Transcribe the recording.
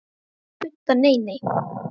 Budda: Nei, nei.